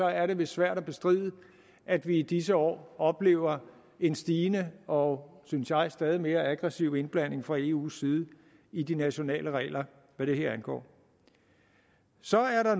er lidt svært at bestride at vi i disse år oplever en stigende og synes jeg stadig mere aggressiv indblanding fra eus side i de nationale regler hvad det her angår så er